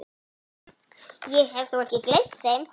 Ég hef þó ekki gleymt þeim!